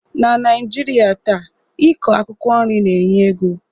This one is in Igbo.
Na Naijiria taa,i kọ akwụkwọ nri na-enye ego